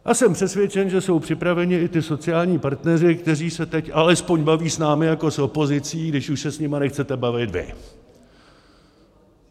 A jsem přesvědčen, že jsou připraveni i ti sociální partneři, kteří se teď alespoň baví s námi jako s opozicí, když už se s nimi nechcete bavit vy.